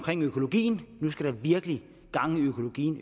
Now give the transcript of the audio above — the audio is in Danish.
økologien nu skal der virkelig gang i økologien